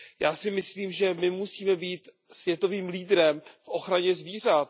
Já si myslím, že my musíme být světovým lídrem v ochraně zvířat.